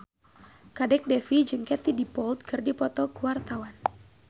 Kadek Devi jeung Katie Dippold keur dipoto ku wartawan